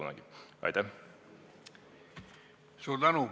Suur tänu!